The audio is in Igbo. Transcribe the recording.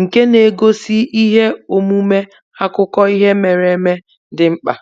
nke na-egosi ihe omume akụkọ ihe mere eme dị mkpa.